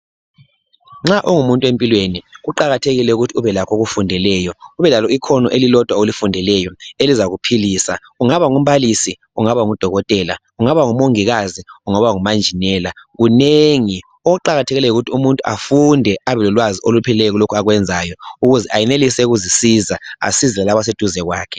Nxa ungumuntu empilweni kuqakathekile ukuthi ubelakho okufundeleyo. Ube lalo ikhono elilodwa olifundeleyo elizakuphilisa. Ungaba ngumbalisi, ungaba ngudokotela, ungaba ngumongikazi, ungaba ngumanjinela ,kunengi. Okuqakathekileyo yikuthi umuntu afunde abelokwazi olupheleleyo kulokhu akwenzayo ukuze ayenelise ukuzisiza asize lalaba abaseduze kwakhe.